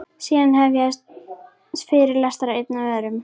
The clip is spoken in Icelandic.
Síðan hefjast fyrirlestrar, einn af öðrum.